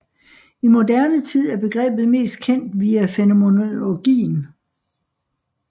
I moderne tid er begrebet mest kendt via fænomenologien